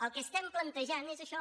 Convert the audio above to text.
el que estem plantejant és això